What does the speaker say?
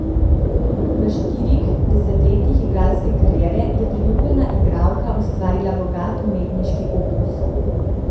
V štirih desetletjih igralske kariere je priljubljena igralka ustvarila bogat umetniški opus.